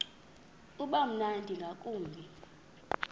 uba mnandi ngakumbi